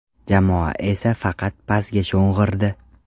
Jamoa esa faqat pasga sho‘ng‘irdi.